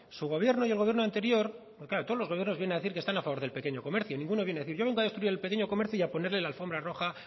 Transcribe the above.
su gobierno y el gobierno anterior todos los gobiernos vienen a decir que están a favor del pequeño comercio ninguno viene a decir yo vengo a destruir el pequeño comercio y a ponerle la alfombra roja